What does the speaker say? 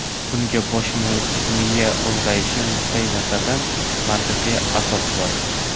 Bunga bosh miya ulg‘ayishi nuqtai nazaridan mantiqiy asos bor.